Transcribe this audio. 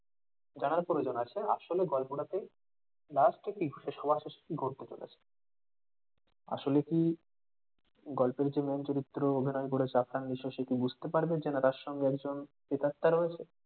জানার প্রয়োজন আছে আসলে গল্পটা তে last এ কি ঘটেছে সবার শেষে কি ঘটতে চলেছে আসলে কি গল্পের যে main চরিত্রে অভিনয় করেছে বুঝতে পারবেন যে ইনার সঙ্গে একজন প্রেতাত্মা রয়েছে।